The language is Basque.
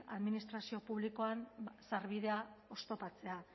administrazio publikoan sarbidea oztopatzea